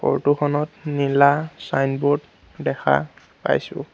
Photo খনত নীলা signboard দেখা পাইছোঁ।